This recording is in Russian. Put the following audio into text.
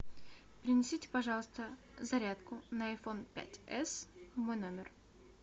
принесите пожалуйста зарядку на айфон пять эс в мой номер